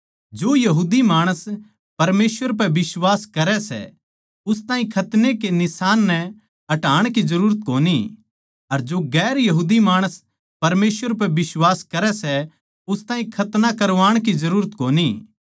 जो यहूदी माणस परमेसवर पै बिश्वास करै सै उस ताहीं खतने के निशान नै हटाण जरूरत कोनी अर जो गैर यहूदी माणस परमेसवर पै बिश्वास करै सै उस ताहीं खतना करवाण की जरूरत कोनी